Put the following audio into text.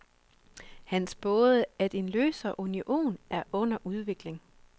Han spåede, at en løsere union er under udvikling.